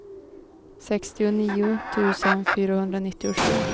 sextionio tusen fyrahundranittiosju